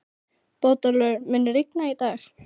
Bótólfur, mun rigna í dag?